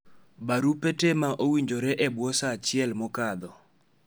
barupe te ma owinjore e bwo saa achiel ma okadho